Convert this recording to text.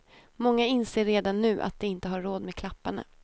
Många inser redan nu att de inte har råd med klapparna.